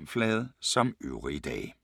Samme programflade som øvrige dage